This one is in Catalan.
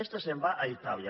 aquesta se’n va a itàlia